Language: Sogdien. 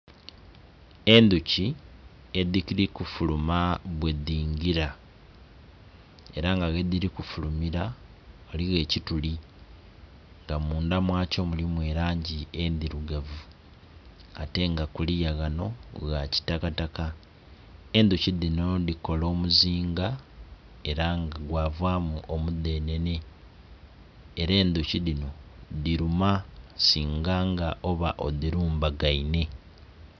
Endhuki edhiri kufuluma bwedhingira era nga wedhiri kufulumera ghaligho ekituli nga mundha mwakyo mulimu langi endhirugavu ate nga kuliya ghano ghakitaka taka. Endhuki dhino dhikola omuzinga era nga gwavamu omudhenhenhe era endhuki dhino dhiruma singanga oba odhirumbagaine.